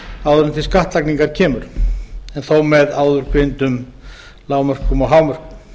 áður en til skattlagningar kemur en þó með áðurgreindum lágmörkum og hámörkum